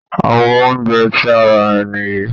Àwo oúnjẹ tí a rà nìyí